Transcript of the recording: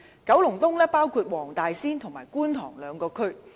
九龍東包括黃大仙和觀塘兩個地區。